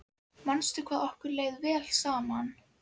Manstu hvað okkur leið vel saman?